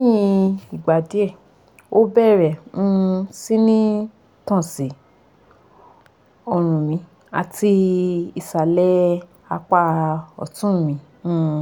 leyin igba die o bere um si ni tan si orun mi ati isale apa otun mi um